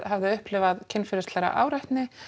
hafði upplifað kynferðislega áreitni